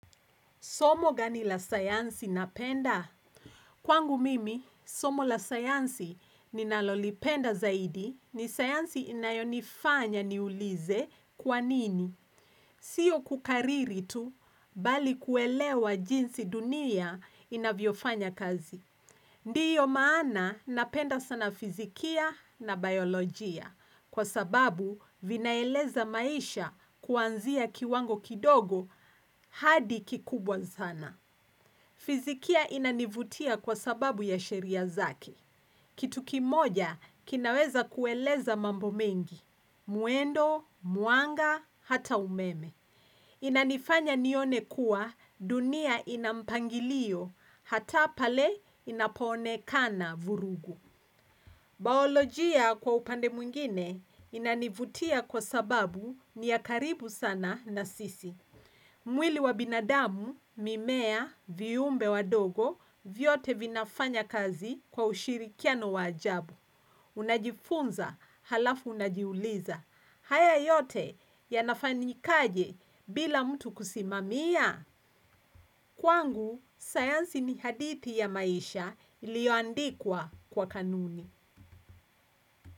Somo gani la sayansi napenda? Kwangu mimi, somo la sayansi ninalolipenda zaidi ni sayansi inayonifanya niulize kwa nini. Sio kukariri tu, bali kuelewa jinsi dunia inavyofanya kazi. Ndiyo maana napenda sana fizikia na biolojia. Kwa sababu, vinaeleza maisha kuanzia kiwango kidogo hadi kikubwa sana. Fizikia inanivutia kwa sababu ya sheria zake. Kitu kimoja kinaweza kueleza mambo mengi. Mwendo, mwanga, hata umeme. Inanifanya nione kuwa dunia ina mpangilio hata pale inaponekana vurugu. Baolojia kwa upande mwingine inanivutia kwa sababu ni ya karibu sana na sisi. Mwili wa binadamu mimea viyumbe wadogo vyote vinafanya kazi kwa ushirikiano wa ajabu. Unajifunza halafu unajiuliza. Haya yote yanafanyikaje bila mtu kusimamia. Kwangu, sayansi ni hadithi ya maisha iliyoandikwa kwa kanuni.